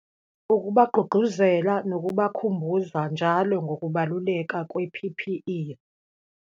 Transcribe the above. Ukubagqugquzela nokubakhumbuza njalo ngokubaluleka kwe-P_P_E.